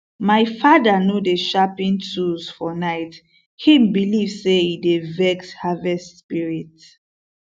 my father no dey sharpen tools for night him believe say e dey vex harvest spirit